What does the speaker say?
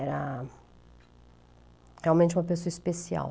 Era realmente uma pessoa especial.